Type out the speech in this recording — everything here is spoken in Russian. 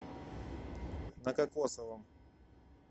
на кокосовом